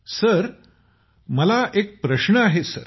sir मला एक प्रश्न आहे सर